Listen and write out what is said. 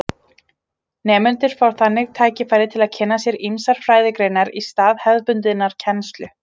Nemendurnir fá þannig tækifæri til að kynna sér ýmsar fræðigreinar í stað hefðbundinnar kennslu.